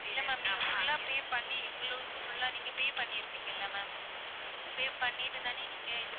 இல்ல ma'am நீங்க full ஆ pay பண்ணி எங்களுக்கு full ஆ நீங்க pay பண்ணிருப்பீங்கள ma'am pay பண்ணிட்டுதான நீங்க இது